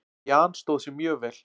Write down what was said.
Jan stóð sig mjög vel.